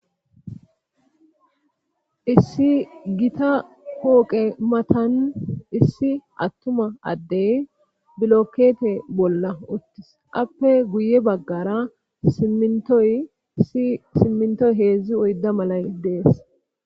Issi gita hooqe matan issi attuma addey bilokete bolla uttis qappe guye baggara yssi simmintoy heedzdzi oyda malay dees.